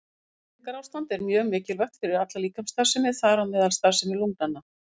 Gott næringarástand er mjög mikilvægt fyrir alla líkamsstarfsemi, þar á meðal starfsemi lungnanna.